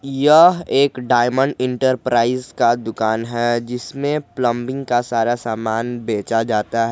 यह एक diamond enterprise का दुकान है जिसमें प्लंबिंग का सारा सामान भेजा जाता है।